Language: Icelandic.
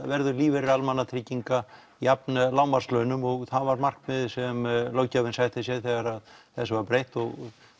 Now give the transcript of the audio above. verður lífeyrir almannatrygginga jafn lágmarkslaunum og það var markmiðið sem löggjöfin setti sér þegar þessu var breytt og